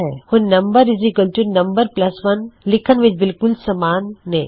ਹੁਣ numnum1 ਲਿਖਣ ਵਿੱਚ ਬਿਲਕੁਲ ਸਮਾਨ ਨੇ